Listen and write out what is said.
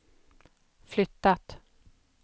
flyttat